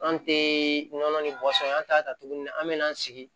An tɛ nɔnɔ ni bɔsɔn an t'a ta tuguni an bɛ na an sigi